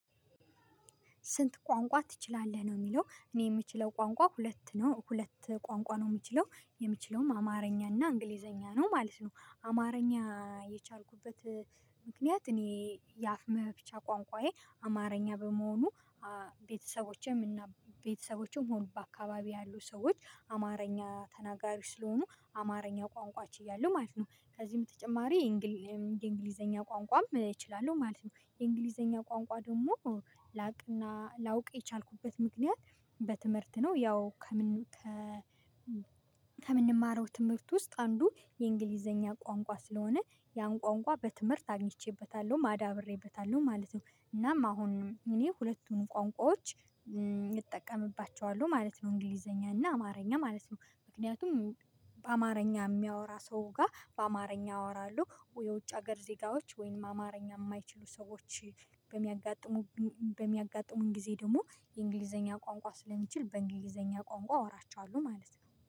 ስንት? ቋንቋ ትችላለህ ነው የሚለው እኔ የምችለው ቋንቋ ሁለት ነው ሁለት ቋንቋ ነው የምችለው የምችለውም አማርኛና እንግሊዘኛ ነው ማለት ነው። አማርኛ የቻልኩበት ምክንያት እኔ የአፍ መፍቻ ቋንቋዬ አማርኛ በመሆኑ ቤተሰቦቼም እና ቤተሰቦቼም ሆኑ በአካባቢዬ ያሉ ሰዎች አማርኛ ተናጋሪዎች ስለሆኑ አማርኛ ቋንቋች ችያለሁ ማለት ነው። ከዚህም በተጨማሪ የእንግሊዘኛ ቋንቋም እችላለሁ ማለት ነው። የእንግሊዘኛ ቋንቋ ደግሞ ላቅና ላውቅ የቻልኩበት ምክንያት በትምህርት ነው። ያው ከምንማረው ትምህርት ውስጥ አንዱ የእንግሊዘኛ ቋንቋ ስለሆነ ያን ቋንቋ በትምህርት አግኝቼበታለሁም አዳብሬበታለሁም ማለት ነው። እናም አሁን እኔ ሁለቱንም ቋንቋዎች እጠቀምባቸዋለሁ ማለት ነው። እንግሊዘኛ እና አማርኛ ማለት ነው ምክንያቱም በአማርኛ የሚያወራ ሰው ጋር በአማርኛ አወራለሁ። የውጭ ሀገር ዜጋዎች ወይም አማርኛ የማይችሉ ሰዎች በሚያጋጥሙ በሚያጋጥሙን ጊዜ ደግሞ የእንግሊዘኛ ቋንቋ ስለምችል በእንግሊዘኛ ቋንቋ አወራቸዋለሁ ማለት ነው